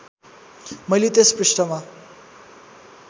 मैले त्यस पृष्ठमा